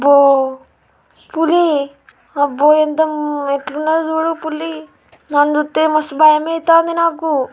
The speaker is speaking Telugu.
అబ్బో పులి అబ్బో ఎంత ఉమ్ ఎట్లున్నది చూడు పులి దాని చూత్తె మస్తు భయమైతాంది నాకు.